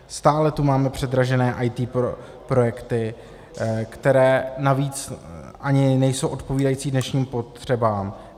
Stále tu máme předražené IT projekty, které navíc ani nejsou odpovídající dnešním potřebám.